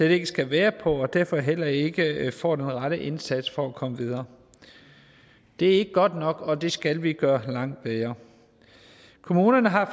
ikke skal være på og derfor heller ikke får den rette indsats for at komme videre det er ikke godt nok og det skal vi gøre langt bedre kommunerne har